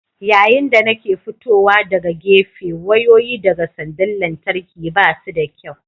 Yayin da nake fitowa daga gefe wayoyi daga sandar lantarki ba su da kyau.